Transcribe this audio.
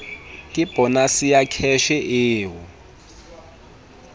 le bonase ya kheshe eo